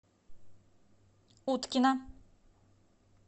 уткина